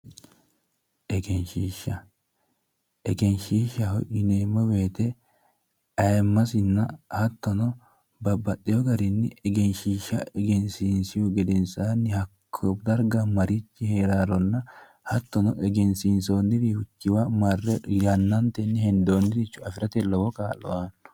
Egenshoishshaho yineemmo woyiite ayiimmasinna hattono babbaxxewoo garinni egenshiishsha egensiinsihu gedensaanni hakko darga marichi heeraaronna hattono egensiinsoonni wiichiwa marre yannantenni hendoonniricho marre afirate lowo kaa'lo aanno